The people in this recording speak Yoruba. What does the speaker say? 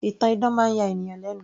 ìtàn idán máa ń ya ènìyàn lẹ́nu